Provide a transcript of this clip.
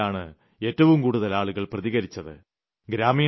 ആ പോർട്ടലിലാണ് ഏറ്റവും കൂടുതൽ ആളുകൾ പ്രതികരിച്ചത്